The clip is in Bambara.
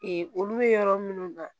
olu bɛ yɔrɔ minnu na